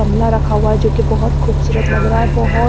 गमला रखा हुआ है जो कि बहुत खूबसूरत लग रहा है बहुत--